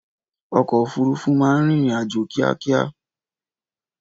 Ọkọ òfúrufú máa ń rìnrìn-àjò kíákíá.